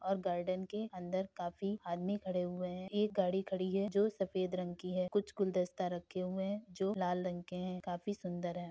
और गार्डन के अंदर काफी आदमी खड़े हुए है। एक गाड़ी खड़ी है जो सफेद रंग की है। कुछ गुलदस्ता रखे हुए है जो लाल रंग के है। काफी सुंदर है।